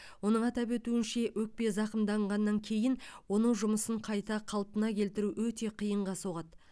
оның атап өтуінше өкпе зағымданғаннан кейін оның жұмысын қайта қалпына келтіру өте қиынға соғады